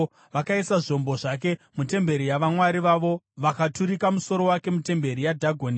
Vakaisa zvombo zvake mutemberi yavamwari vavo vakaturika musoro wake mutemberi yaDhagoni.